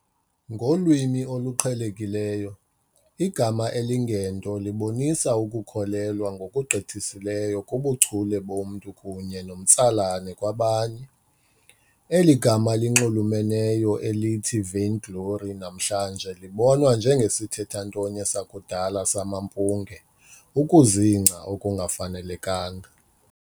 Ngolwimi oluqhelekileyo, igama elingento libonisa ukukholelwa ngokugqithiseleyo kubuchule bomntu kunye nomtsalane kwabanye. Eli gama linxulumeneyo elithi vainglory namhlanje libonwa njengesithethantonye sakudala "samampunge", ukuzingca okungafanelekanga.